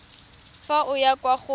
fa o ya kwa go